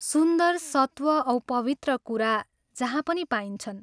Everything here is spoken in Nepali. सुन्दर, सत्व औ पवित्र कुरा जहाँ पनि पाइन्छन्।